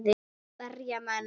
Berja menn?